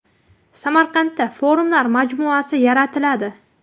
Samarqandda Forumlar majmuasi yaratiladi.